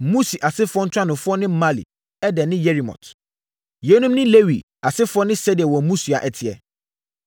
Musi asefoɔ ntuanofoɔ ne Mahli, Eder ne Yerimot. Yeinom ne Lewi asefoɔ ne sɛdeɛ wɔn mmusua teɛ.